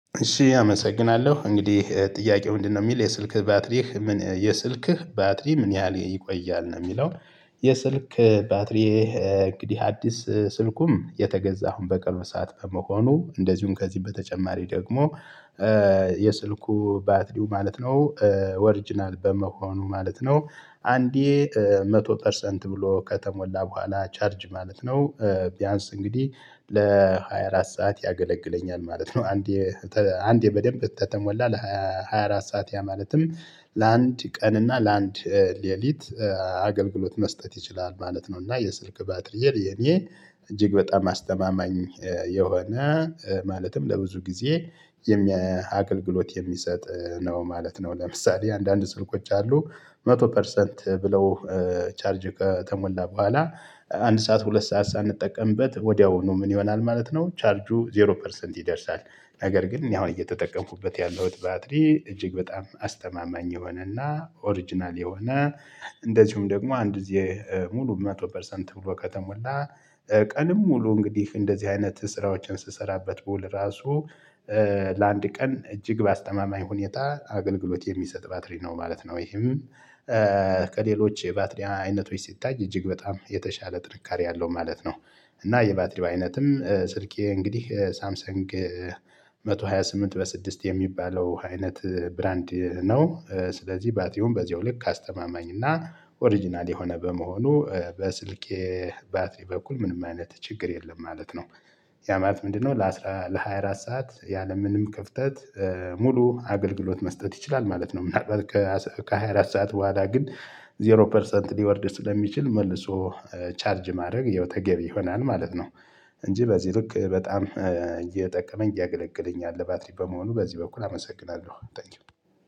እሺ አመሰግናለሁ። እንግዲህ ጥያቄው ምንድነው የሚል የስልክ ባትሪህ ምን የስልክህ ባትሪ ምን ያህል ይቆያል? ነው የሚለው። የስልክ ባትሪህ እንግዲህ አዲስ ስልኩም የተገዛው አሁን በቅርብ ሰዓት በመሆኑ እንደዚሁም ከዚህ በተጨማሪ ደግሞ የስልኩ ባትሪው ማለት ነው ኦርጅናል በመሆኑ ማለት ነው። አንዴ መቶ ፐርሰንት ብሎ ከተሞላ በኋላ ቻርጅ ማለት ነው። ቢያንስ እንግዲህ ለሃያ አራት ሰዓት ያገለግለኛል ማለት ነው። አንዴ አንዴ በደንብ ተተሞላ ለሀያ አራት ሰዓት ያ ማለትም ለአንድ ቀን እና ለአንድ ሌሊት አገልግሎት መስጠት ይችላል ማለት ነው። እና የስልክ ባትሪየ የኔ እጅግ በጣም አስተማማኝ የሆነ ማለትም ለብዙ ጊዜ አገልግሎት የሚሰጥ ነው ማለት ነው። ለምሳሌ አንዳንድ ስልኮች አሉ መቶ ፐርሰንት ብለው ቻርጅ ከተሞላ በኋላ አንድ ሰዓት ሁለት ሰዓት ሳንጠቀምበት ወዲያውኑ ምን ይሆናል ማለት ነው ቻርጁ ዜሮ ፐርሰንት ይደርሳል። ነገር ግን እኔ አሁን እየተጠቀምኩበት ያለሁት ባትሪ እጅግ በጣም አስተማማኝ የሆነና ኦሪጅናል የሆነ እንደዚሁም ደግሞ አንድ ጊዜ ሙሉ መቶ ፐርሰንት ብሎ ከተሞላ ቀኑን ሙሉ እንግዲህ እንደዚህ አይነት ስራዎችን ስሰራበት ብውል ራሱ ለአንድ ቀን እጅግ ባስተማማኝ ሁኔታ አገልግሎት የሚሰጥ ባትሪ ነው ማለት ነው። ይሄም ከሌሎች የባትሪ አይነቶች ሲታይ እጅግ በጣም የተሻለ ጥንካሬ አለው ማለት ነው። እና የባትሪው አይነትም ስልኬ እንግዲህ ሳምሰንግ መቶ ሃያ ስምንት በስድስት የሚባለው አይነት ብራንድ ነው። ስለዚህ ባትሪውም በዚሁ ልክ አስተማማኝ እና ኦሪጅናል የሆነ በመሆኑ በስልኬ ባትሪ በኩል ምንም አይነት ችግር የለም ማለት ነው። ያ ማለት ምንድነው ለአስራ ለሃያ አራት ሰዓት ያለምንም ክፍተት ሙሉ አገልግሎት መስጠት ይችላል ማለት ነው። ከሃያ ሰዓት በኋላ ግን ዜሮ ፐርሰንት ሊወርድ ስለሚችል መልሶ ቻርጅ ማድረግ ይኸው ተገቢ ይሆናል ማለት ነው። እንጂ በዚህ ልክ በጣም እየጠቀመኝ እያገለገለኝ ያለ ባትሪ በመሆኑ በዚህ በኩል አመሰግናለሁ። ታንኪው።